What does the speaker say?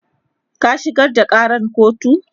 ka shigar da Karan kotu!